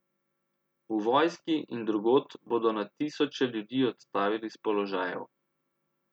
V vojski in drugod bodo na tisoče ljudi odstavili s položajev.